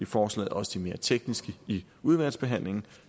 forslaget også de mere tekniske i udvalgsbehandlingen